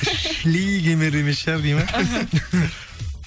шли емес шығар дейді ма іхі